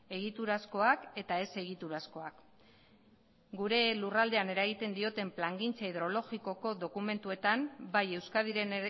egiturazkoak eta ez egiturazkoak gure lurraldean eragiten dioten plangintza hidrologikoko dokumentuetan bai euskadiren